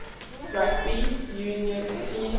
rugby union team